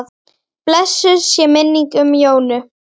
Blessuð sé minning Jónu.